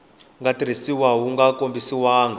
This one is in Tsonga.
nga tirhisiwa wu nga kombisiwangi